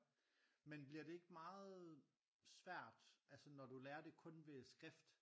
Men bliver det ikke meget svært altså når du lærer det kun ved skrift